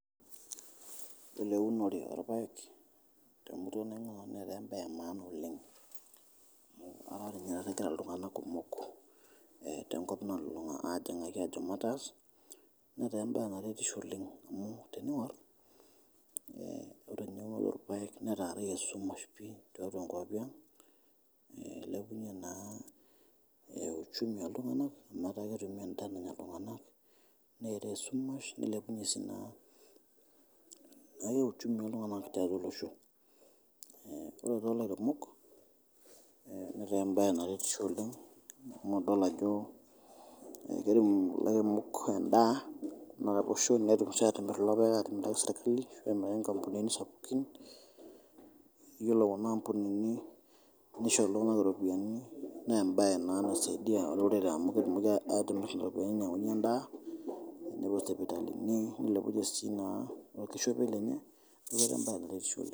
Yiolo eunore oo ilpaek te murua naing`uaa nanu netaa embae e maana oleng. Amu etaa taa ninye egira iltung`anak kumok tenkop nalulung`a aajing`aki aajo mataas. Netaa embae naretisho oleng amu tening`orr ore ninye ning`or ilpaek netaarayie esumash pii tiatua nkuapi ang. Eilepunyie naa uchumi oo iltung`anak amu etaa ketumi en`daa nanya iltung`anak neetae esumash naelepunyie sii uchumi oo iltung`anak tiatua olosho. Ore too lairemok netaa embae naretisho oleng amu idol ajo kirem ilairemok en`daa to losho netum sii aatimrr kulo paek aatimiraki sirkali nemiraki sii nkampunini sapukin. Yiolo kuna ampunini nisho iltung`anak irropiyiani, naa embae naa naisaidia olorere amu ketumoki aatimirr ntokitin nainyiang`unyie en`daa, nepuo isipitalini neilepunyie sii naa orkishopie lenye . Niaku embae naa naretisho oleng.